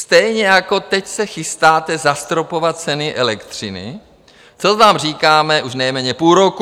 Stejně jako teď se chystáte zastropovat ceny elektřiny, to vám říkáme už nejméně půl roku.